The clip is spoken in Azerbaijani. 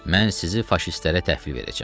Mən sizi faşistlərə təhvil verəcəm.